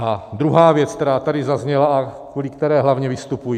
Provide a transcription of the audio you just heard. A druhá věc, která tady zazněla a kvůli které hlavně vystupuji.